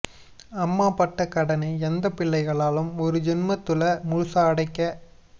அம்மா பட்ட கடனை எந்தப் பிள்ளைகளாலும் ஒரு ஜென்மத்துல முழுசா அடைக்க